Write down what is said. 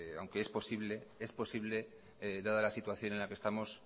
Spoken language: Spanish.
aunque es posible dada la situación en la que estamos